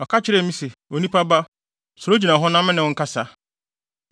Ɔka kyerɛɛ me se, “Onipa ba, sɔre gyina hɔ na me ne wo nkasa.”